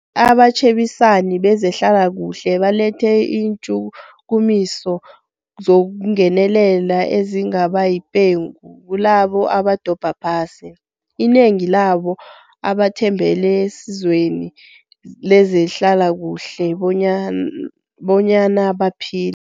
Abatjhebisani bezehlalakuhle balethe iintjhukumiso zokungenelela ezingabayipengu kilabo abadobha phasi, inengi labo abathembele esizweni lezehlalakuhle bonyana baphile.